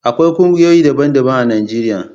Akwai kungiyoyi daban-daban a Najeriya.